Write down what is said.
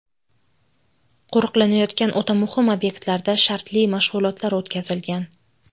Qo‘riqlanayotgan o‘ta muhim obyektlarda shartli mashg‘ulotlar o‘tkazilgan.